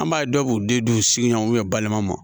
An b'a ye dɔw b'u den d'u sigiɲɔgɔnw u balima ma